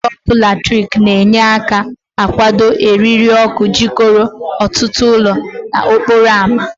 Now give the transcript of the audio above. Ide ọkụ latrik na-enye aka akwụdo eriri ọkụ jikọrọ ọtụtụ ụlọ n'okporo ámá.